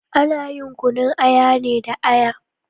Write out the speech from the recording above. Ana yin kunun aya ne da Aya